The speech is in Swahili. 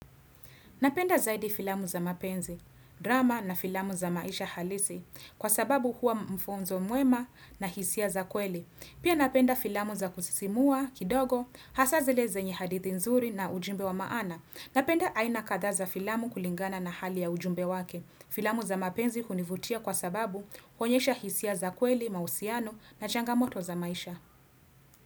Napenda zaidi filamu za mapenzi, drama na filamu za maisha halisi, kwa sababu huwa m mfunzo muema na hisia za kweli. Pia napenda filamu za kusisimua kidogo, hasaa zile zenye hadithi nzuri na ujumbe wa maana. Napenda aina kadha za filamu kulingana na hali ya ujumbe wake. Filamu za mapenzi hunivutia kwa sababu, huonyesha hisia za kweli, mahusiano, na changamoto za maisha.